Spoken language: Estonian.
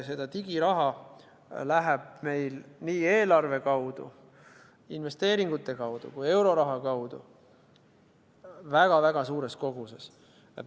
Seda digiraha läheb meil nii eelarve kaudu, investeeringute kaudu kui ka euroraha kaudu väga-väga suures koguses.